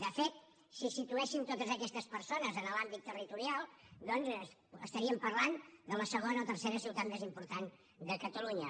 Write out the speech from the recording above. de fet si situéssim totes aquestes persones en l’àmbit territorial doncs estaríem parlant de la segona o tercera ciutat més important de catalunya